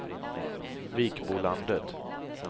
Vikbolandet